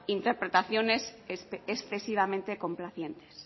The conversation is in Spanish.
interpretaciones excesivamente complacientes